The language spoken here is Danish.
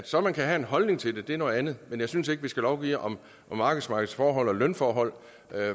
så kan have en holdning til det er noget andet men jeg synes ikke at vi skal lovgive om arbejdsmarkedsforhold og lønforhold